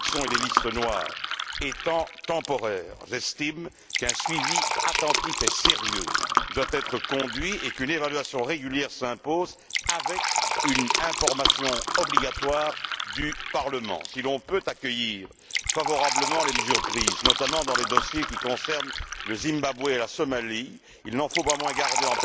Les sanctions et les listes noires étant temporaires, j'estime qu'un suivi attentif et sérieux doit être mené et qu'une évaluation régulière s'impose avec une information obligatoire du Parlement. Si l'on peut accueillir favorablement les mesures prises, notamment dans les dossiers qui concernent le Zimbabwe et la Somalie, il n'en faut pas moins garder